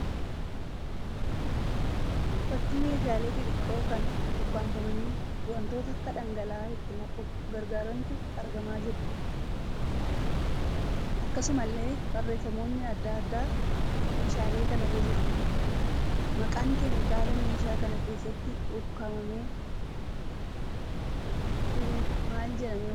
Fakkii meeshaaleen xixiqqoo kan ukkaafamanii wantoota akka dhangala'aa itti naquuf gargaarantu argamaa jiru. Akkasumallee barreeffamoonni adda addaa meeshaalee kanarra jiru. Maqaan keemikaala meeshaa kana keessatti ukkaanfamee jiru maal jedhamee waamama?